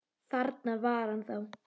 Þarna var hann þá!